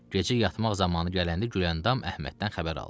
Gecə yatmaq zamanı gələndə Güləndam Əhməddən xəbər aldı.